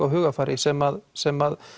á hugarfari sem sem